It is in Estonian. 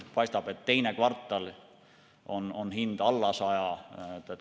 Paistab, et teises kvartalis on hind alla 100 euro.